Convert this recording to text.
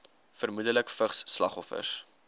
vermoedelik vigs slagoffers